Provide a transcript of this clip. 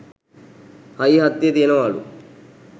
හයිය හත්තිය තියෙනවාලු.